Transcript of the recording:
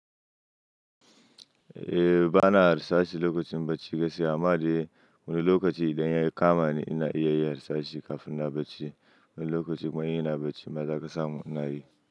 Eh bana harsashi lokacin bacci gaskiya amma dai wani lokaci idan ya yi kama ni ina iya yin harsashi kafin na bacci. Wani lokaci kuma in ina bacci kuma za ka samu ina yi.